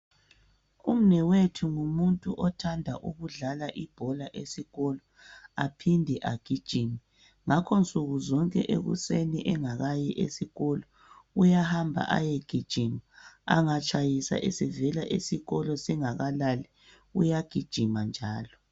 Umnewethu ngumuntu othanda ukudlala ibhola esikolo, aphinde agijime ngakho nsukuzonke ekuseni engakayi esikolo uyahamba ayegijima angatshayisa evela esikolo engakalali uyagijima njalo.